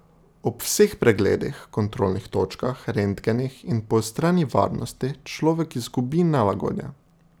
Ob vseh pregledih, kontrolnih točkah, rentgenih in poostreni varnosti človek izgubi nelagodje.